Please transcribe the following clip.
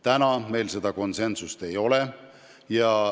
Praegu meil seda konsensust ei ole.